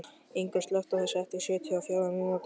Ingunn, slökktu á þessu eftir sjötíu og fjórar mínútur.